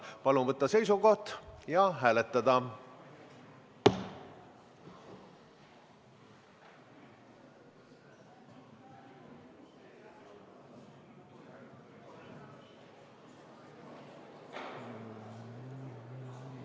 Palun võtta seisukoht ja hääletada!